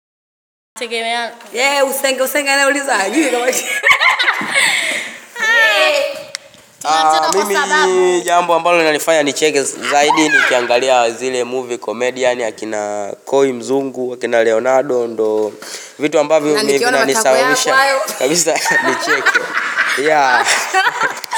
Mimi jambo ambalo linanifanya nicheke zaidi nikiangalia zile movie comedian akina Koi Mzungu, akina Leonardo, ndo vitu ambavyo vinanisababisha kabisa nicheke.